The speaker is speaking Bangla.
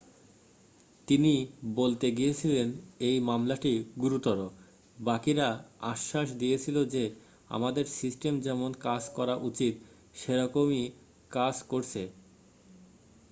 "তিনি বলতে গিয়েছিলেন,""এই মামলাটি গুরুতর। বাকিরা আশ্বাস দিয়েছিল যে আমাদের সিস্টেম যেমন কাজ করা উচিত সেরকম ই কাজ করছে।""